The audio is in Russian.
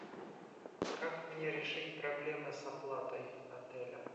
как мне решить проблемы с оплатой отеля